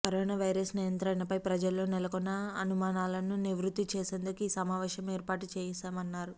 corona virus నియంత్రణపై ప్రజల్లో నెలకొన్న అనుమానాలను నివృత్తి చేసేందుకు ఈ సమావేశం ఏర్పాటు చేశామన్నారు